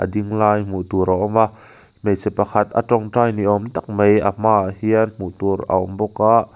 dinglai hmuh tur a awm a hmeichhe pakhat a tawngtai ni awm tak mai a hmaah hian hmuh tur a awm bawk a.